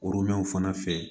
fana fɛ